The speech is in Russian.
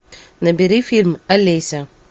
набери фильм олеся